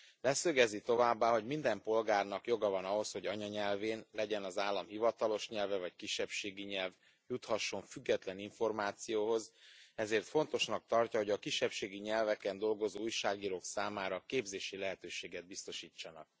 Leszögezi továbbá, hogy minden polgárnak joga van ahhoz, hogy anyanyelvén legyen az állam hivatalos nyelve vagy kisebbségi nyelv juthasson független információhoz, ezért fontosnak tartja, hogy a kisebbségi nyelveken dolgozó újságírók számára képzési lehetőséget biztosítsanak.